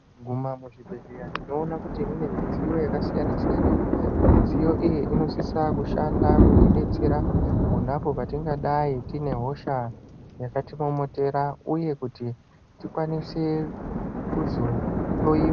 Patinoguma muzvibhedhleya tinoona kuti munemidziyo yakasiyana siyana mudziyo iyi inosisa kushanda kutibetsera ponapo patingadai tine hosha yakatimomotera uye kuti tikwanise kuzohloyiwa